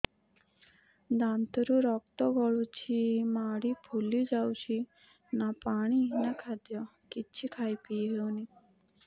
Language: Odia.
ଦାନ୍ତ ରୁ ରକ୍ତ ଗଳୁଛି ମାଢି ଫୁଲି ଯାଉଛି ନା ପାଣି ନା ଖାଦ୍ୟ କିଛି ଖାଇ ପିଇ ହେଉନି